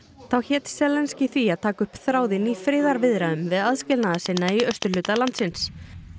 þá hét því að taka upp þráðinn í friðarviðræðum við aðskilnaðarsinna í austurhluta landsins